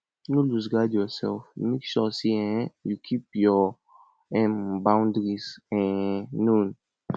no loose guard your self make sure sey um you keep your um boundaries um known